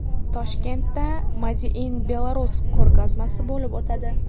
Toshkentda Made in Belarus ko‘rgazmasi bo‘lib o‘tadi.